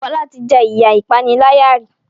Fola tí jé iya ìpaniláyà rí